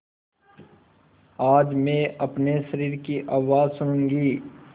आज मैं अपने शरीर की आवाज़ सुनूँगी